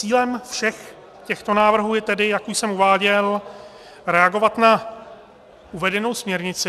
Cílem všech těchto návrhů je tedy, jak už jsem uváděl, reagovat na uvedenou směrnici -